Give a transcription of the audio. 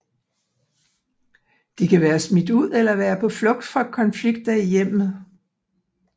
De kan være smidt ud eller være på flugt fra konflikter i hjemmet